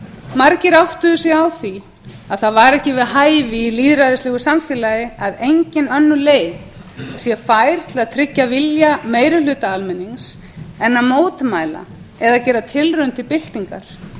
margir áttuðu sig á því að það væri ekki við hæfi í lýðræðislegu samfélagi að engin önnur leið sé fær til að tryggja vilja meirihluta almennings en að mótmæla eða gera tilraun til byltingar